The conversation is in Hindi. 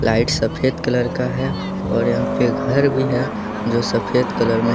लाइट सफेद कलर का है और यहां पे घर भी है जो सफेद कलर में--